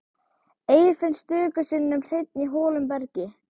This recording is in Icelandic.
Eir finnst stöku sinnum hreinn í holum í bergi.